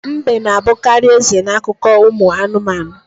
Mbe na-abukarị eze n'akụkọ ụmụ anụmanụ.